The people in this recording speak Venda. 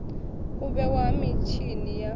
u vhewa ha mitshini ya